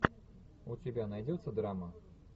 у тебя найдется драма